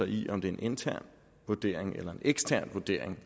i om det er en intern vurdering eller en ekstern vurdering